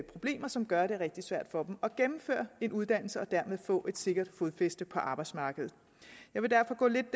problemer som gør at det er rigtig svært for dem at gennemføre en uddannelse og dermed få et sikkert fodfæste på arbejdsmarkedet jeg vil derfor gå lidt